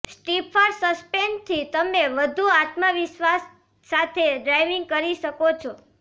stiffer સસ્પેન્શનથી તમે વધુ આત્મવિશ્વાસ સાથે ડ્રાઇવિંગ કરી શકો છો